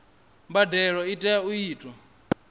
mbadelo i tea u itwa